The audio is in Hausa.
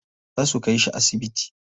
Za su kai shi asibiti.